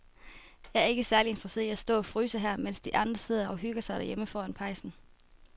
Jeg er ikke særlig interesseret i at stå og fryse her, mens de andre sidder og hygger sig derhjemme foran pejsen.